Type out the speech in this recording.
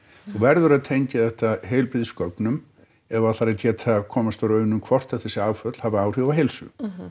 þú verður að tengja þetta heilbrigðisgögnum ef þú ætlar að geta komist að raun um hvort að þessi áföll hafi áhrif á heilsu